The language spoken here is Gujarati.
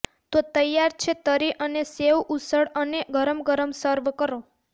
તો તૈયાર છે તરી અને સેવઉસળ અને ગરમ ગરમ સર્વ કરો